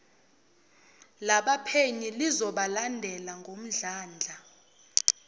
labaphenyi lizobalandela ngomdlandla